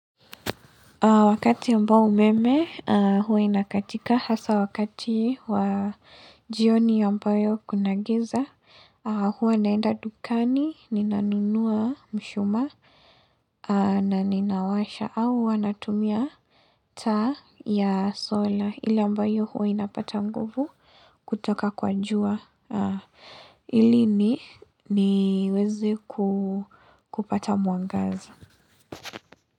Wakati ambao umeme huwa inakatika hasa wakati wa jioni ambayo kunagiza huwe naenda dukani, ninanunua mshumaa na ninawasha au wanatumia ta ya sola ili yambayo huwe inapata mguvu kutoka kwa jua ilini niwezi kupata mwangaza.